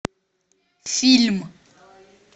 фильм